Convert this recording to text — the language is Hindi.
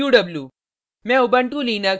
sort qw